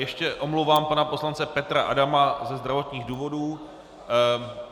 Ještě omluva pana poslance Petra Adama - ze zdravotních důvodů.